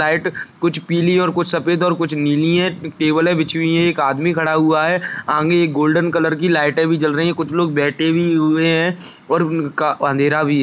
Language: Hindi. साइड कुछ पीली और सफेद और कुछ नीली है टेबले बिछी हुई हैं एक आदमी खड़ा हुआ है आगे एक गोल्डन कलर की लाइटे भी जल रही है कुछ लोग बैठे भी हुए है और उनका अंधेरा भी--